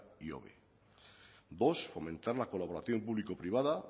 ihobe dos fomentar la colaboración público privada